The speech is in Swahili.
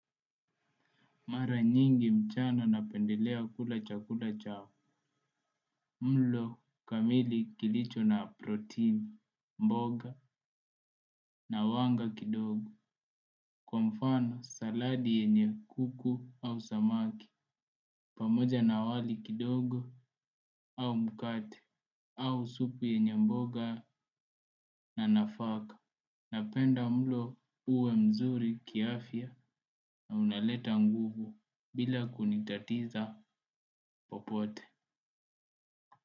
Mara nyingi mchana napendelea kula chakula cha mlo kamili kilicho na protini mboga na wanga kidogo. Kwa mfano saladi yenye kuku au samaki. Pamoja na wali kidogo au mkate au supu yenye mboga na nafaka. Napenda mlo uwe mzuri kiafya na unaleta nguvu bila kunitatiza popote.